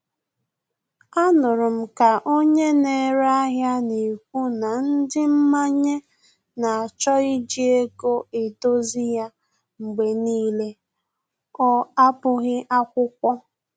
A nụrụ m ka onye na-ere ahịa na-ekwu na ndị mmanye na-achọ iji ego edozi ya mgbe n'ile, ọ abụghị akwụkwọ